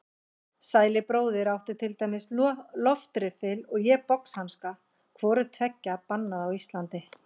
Sæli bróðir átti til dæmis loftriffil og ég boxhanska, hvoru tveggja bannað á Íslandi.